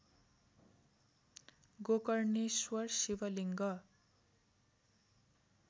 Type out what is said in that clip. Gokarneshwar Shivling